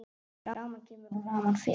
Rafmagn kemur og rafmagn fer.